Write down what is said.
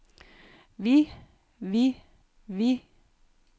vi vi vi